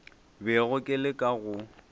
bego ke le ka go